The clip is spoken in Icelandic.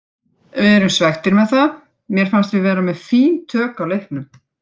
Við erum svekktir með það, mér fannst við vera með fín tök á leiknum.